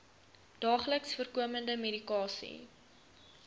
daagliks voorkomende medikasie